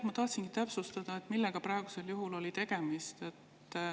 Ma tahtsingi täpsustada, millega praegusel juhul oli tegemist.